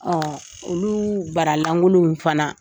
Ɔɔ olu bara langolonw fana